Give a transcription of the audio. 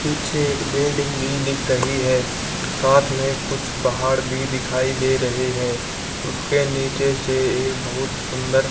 पीछे एक बिल्डिंग भी दिख रही है साथ मे कुछ पहाड़ भी दिखाई दे रहे हैं उसके नीचे से एक बहुत सुंदर--